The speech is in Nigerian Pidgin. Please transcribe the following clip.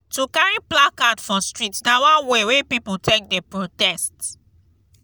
to carry placard for street na one way wey pipo take dey protest.